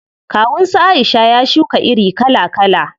Kawun su Aisha ya shuka iri kala kala.